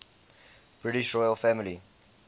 british royal family